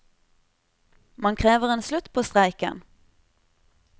Man krever en slutt på streiken.